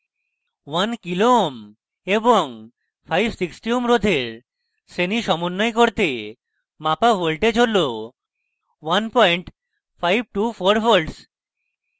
1 kω kilo ohms এবং 560ω ohms রোধের শ্রেণী সমন্বয় করতে মাপা voltage হল 1524v